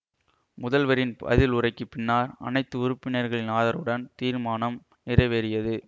முதல்வரின் பதில் உரைக்கு பின்னார் அனைத்து உறுப்பினர்களின் ஆதரவுடன் தீர்மானம் நிறைவேறியது